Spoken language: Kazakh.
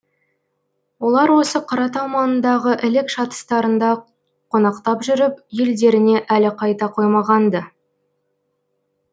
олар осы қаратау маңындағы ілік шатыстарында қонақтап жүріп елдеріне әлі қайта қоймаған ды